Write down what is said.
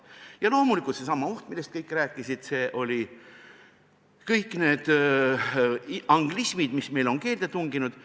Ja loomulikult seesama oht, millest kõik rääkisid – kõik need anglismid, mis on meie keelde tunginud.